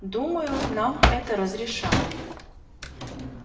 думаю нам это разрешат